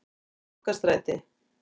Bankastræti